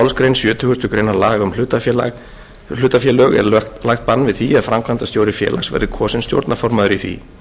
sjötugustu grein laga um hlutafélög er lagt bann við því að framkvæmdastjóri félags verði kosinn stjórnarformaður í því